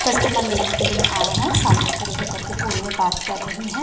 Customer लेने के लिए आए हैं सामने खड़े होकर के फोन में बात कर रही है।